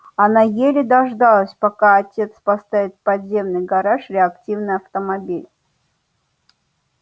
она еле дождалась пока отец поставит в подземный гараж реактивный автомобиль